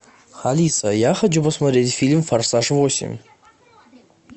алиса я хочу посмотреть фильм форсаж восемь